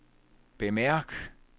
bemærk